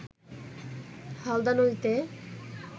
হালদা নদীতে